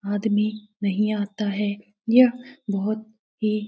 आदमी नहीं आता है यह बहुत ही --